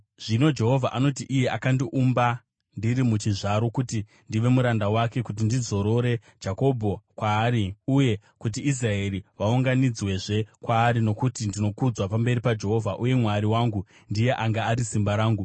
Zvino Jehovha anoti, iye akandiumba ndiri muchizvaro kuti ndive muranda wake, kuti ndidzorere Jakobho kwaari uye kuti Israeri vaunganidzwezve kwaari, nokuti ndinokudzwa pamberi paJehovha, uye Mwari wangu ndiye anga ari simba rangu,